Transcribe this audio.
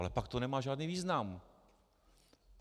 Ale pak to nemá žádný význam.